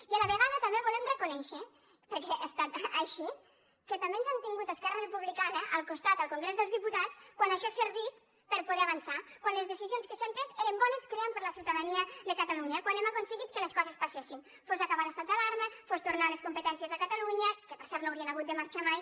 i a la vegada també volem reconèixer perquè ha estat així que també ens han tingut a esquerra republicana al costat al congrés dels diputats quan això ha servit per a poder avançar quan les decisions que s’hi han pres eren bones crèiem per a la ciutadania de catalunya quan hem aconseguit que les coses passessin fos acabar l’estat d’alarma fos tornar les competències a catalunya que per cert no haurien hagut de marxar ne mai